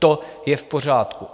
To je v pořádku.